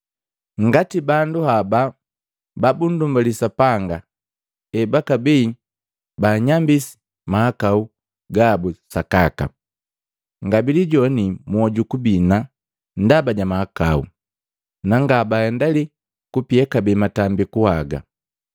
Ngati bandu haba babundumbali Sapanga ebakabii banyambisi mahakau gabu sakaka, ngabilijoani mwoju kubina ndaba ja mahakau, na ngabahendali kupia kabee matambiku haga.